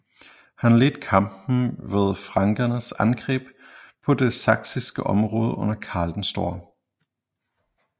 Han ledte kampen ved frankernes angreb på det saksiske område under Karl den Store